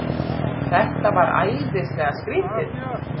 Þetta var æðislega skrýtið.